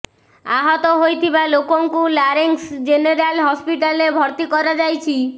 ଆହତ ହୋଇଥିବା ଲୋକଙ୍କୁ ଲାରେଂସ ଜେନେରାଲ ହସ୍ପିଟାଲରେ ଭର୍ତି କରାଯାଇଛି